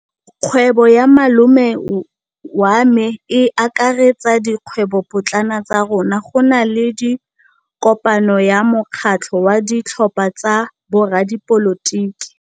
Kgwêbô ya malome wa me e akaretsa dikgwêbôpotlana tsa rona. Go na le kopanô ya mokgatlhô wa ditlhopha tsa boradipolotiki.